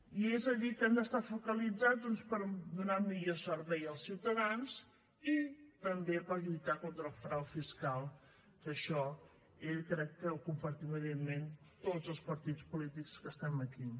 i és a dir que han d’estar focalitzats doncs per donar millor servei als ciutadans i també per lluitar contra el frau fiscal que això crec que ho compartim evidentment tots els partits polítics que estem aquí